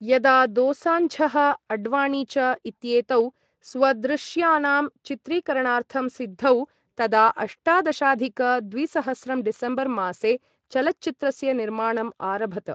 यदा दोसान्झः, अड्वाणी च इत्येतौ स्वदृश्याणां चित्रीकरणार्थं सिद्धौ, तदा अष्टादशाधिक द्विसहस्रं डिसेम्बर् मासे चलच्चित्रस्य निर्माणम् आरभत।